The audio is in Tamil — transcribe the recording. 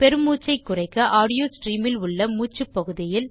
பெருமூச்சைக் குறைக்க ஆடியோ ஸ்ட்ரீம் இல் உள்ள மூச்சுப் பகுதியில்